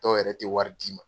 Dɔw yɛrɛ tɛ wari d'i ma.